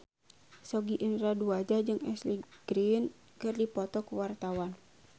Sogi Indra Duaja jeung Ashley Greene keur dipoto ku wartawan